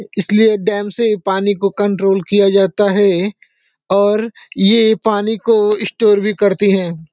इसलिए डैम से पानी को कंट्रोल किया जाता है और ये पानी को स्टोर भी करते हैं।